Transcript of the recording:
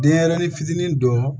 Denɲɛrɛnin fitinin dɔ